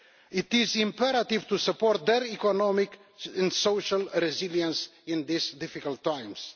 It is imperative to support their economic and social resilience in these difficult times.